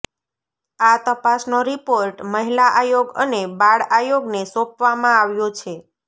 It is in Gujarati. આ તપાસનો રિપોર્ટ મહિલા આયોગ અને બાળઆયોગને સોંપવામાં આવ્યો છે